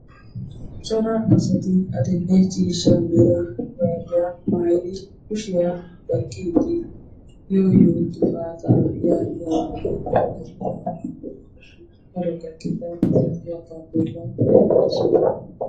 cora asati adil'e ciishsha mera shuraabiya mayidi kushiya baqqiiddi yooyo gifaata yaagiya daro gakkida taappeellaa oyikkidosona.